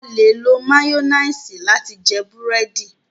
A le lò mayonnaise lati jẹ burẹdi